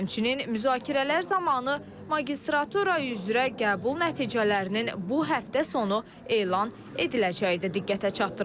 Həmçinin müzakirələr zamanı magistratura üzrə qəbul nəticələrinin bu həftə sonu elan ediləcəyi də diqqətə çatdırıldı.